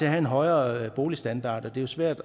have en højere boligstandard og det er svært